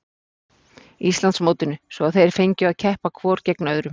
Íslandsmótinu svo að þeir fengju að keppa hvor gegn öðrum.